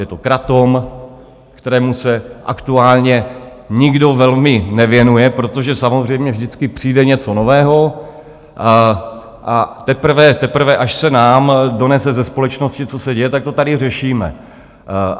Je to kratom, kterému se aktuálně nikdo velmi nevěnuje, protože samozřejmě vždycky přijde něco nového, a teprve až se nám donese ze společnosti, co se děje, tak to tady řešíme.